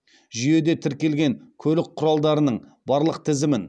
жүйеде тіркелген көлік құралдарының барлық тізімін